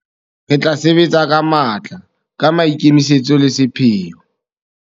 Re tla sebetsa ka matla, ka maikemisetso le sepheo.